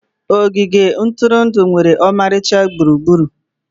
Ogige ntụrụndụ nwere ọmarịcha gburugburu.